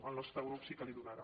el nostre grup sí que l’hi donarà